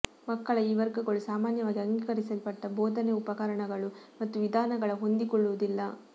ಮಕ್ಕಳ ಈ ವರ್ಗಗಳು ಸಾಮಾನ್ಯವಾಗಿ ಅಂಗೀಕರಿಸಲ್ಪಟ್ಟ ಬೋಧನೆ ಉಪಕರಣಗಳು ಮತ್ತು ವಿಧಾನಗಳ ಹೊಂದಿಕೊಳ್ಳುವುದಿಲ್ಲ